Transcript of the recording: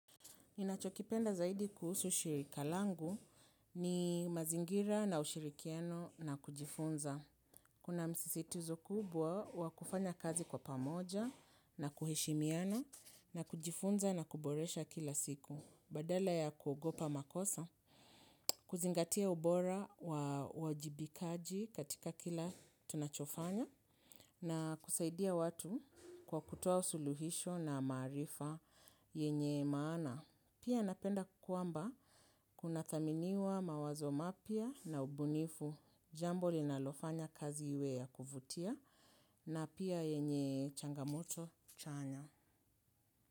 Ninachokipenda zaidi kuhusu shirika langu ni mazingira na ushirikiano na kujifunza. Kuna msisitizo kubwa wa kufanya kazi kwa pamoja na kuhishimiana na kujifunza na kuboresha kila siku. Badala ya kuogopa makosa, kuzingatia ubora wa wajibikaji katika kila tunachofanya na kusaidia watu kwa kutoa suluhisho na maarifa yenye maana. Pia napenda kwamba kunathaminiwa mawazo mapya na ubunifu jambo linalofanya kazi iwe ya kuvutia na pia yenye changamoto chanya.